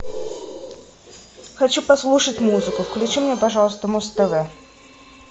хочу послушать музыку включи мне пожалуйста муз тв